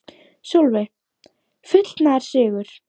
Sólveig: Fullnaðarsigur?